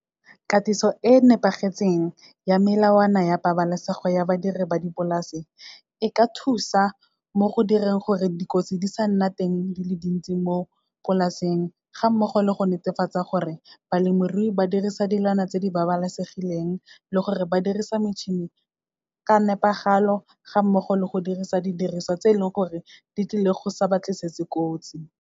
Katiso e nepagetseng ya melawana ya pabalesego ya badiri ba dipolase, e ka thusa mo go direng gore dikotsi di sa nna teng di le dintsi mo polaseng, ga mmogo le go netefatsa gore balemirui ba dirisa dilwana tse di babalesegileng, le gore ba dirisa metšhini ka nepagalo ga mmogo le go dirisa didiriswa tse e leng gore, di tlile go sa ba tlisetse kotsi.